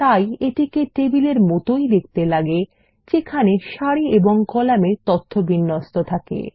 তাই এটিকে টেবিলের মতই দেখতে লাগে যেখানে সারি এবং কলামে তথ্য থাকে